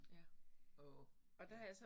Ja åh ja